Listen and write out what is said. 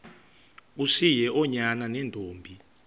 ushiye oonyana neentombi